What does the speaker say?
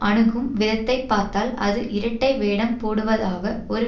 அணுகும் விதத்தைப்பார்த்தால் அது இரட்டை வேடம் போடுவதாக ஒரு